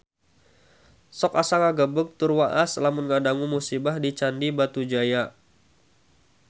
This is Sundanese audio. Sok asa ngagebeg tur waas lamun ngadangu musibah di Candi Batujaya